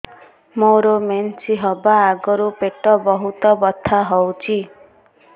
ମୋର ମେନ୍ସେସ ହବା ଆଗରୁ ପେଟ ବହୁତ ବଥା ହଉଚି